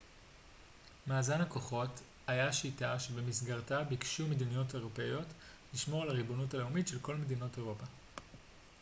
מאזן הכוחות היה שיטה שבמסגרתה ביקשו מדינות אירופיות לשמור על הריבונות הלאומית של כל מדינות אירופה